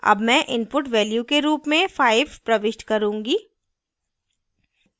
अब मैं input value के रूप में 5 प्रविष्ट करुँगी